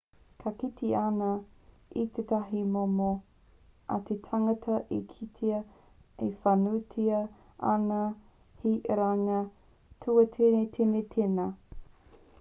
ka kite ana i tētahi momo a te tangata e kitea whānuitia ana he iranga tūātinitini tēnā